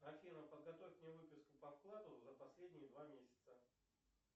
афина подготовь мне выписку по вкладу за последние два месяца